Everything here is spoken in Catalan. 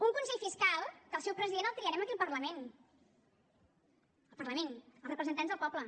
un consell fiscal que el seu president el triarem aquí al parlament el parlament els representants del poble